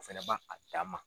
A fɛnɛ ba a dan ma.